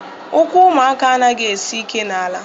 Ụkwụ ụmụaka anaghị esi ike n'ala